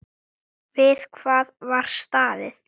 Við það var staðið.